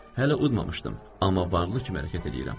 Hələ udmamışdım, amma varlı kimi hərəkət eləyirəm.